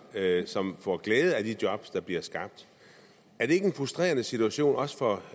som får glæde af de jobs der bliver skabt er det ikke en frustrerende situation også for